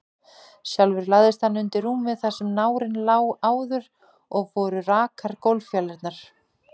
Sjálfur lagðist hann undir rúmið þar sem nárinn lá áður, og voru rakar gólffjalirnar.